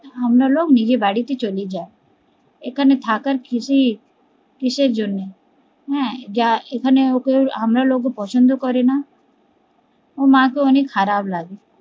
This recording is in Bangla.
আমরালগ নিয়ে বাড়িতে চলে যায় এখানে থাকা কিসের জন্য হ্যা যা আমারলোগোকে পছন্দ করে না, ওর মার তো অনেক খারাপ লাগে